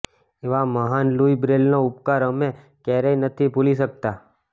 એવા મહાન લુઇ બ્રેલનો ઉપકાર અમે કયારેય નથી ભુલી શકતા